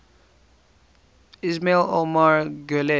ismail omar guelleh